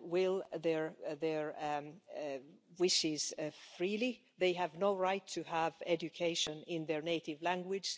will and their wishes freely and they have no right to education in their native language.